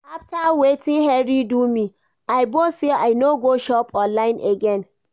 After wetin Henry do me, I vow say I no go shop online again